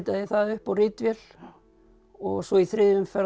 ég það upp á ritvél og svo í þriðju umferð